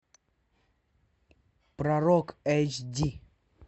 пророк эйч ди